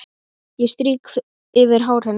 Ég strýk yfir hár hennar.